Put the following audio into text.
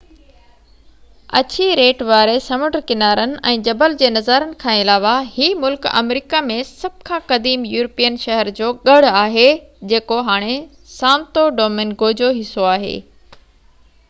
اڇي ريٽ واري سمنڊ ڪنارن ۽ جبل جي نظارن کان علاوه هي ملڪ آمريڪا ۾ سڀ کان قديم يورپين شهر جو ڳڙ آهي جيڪو هاڻي سانتو ڊومنگو جو حصو آهي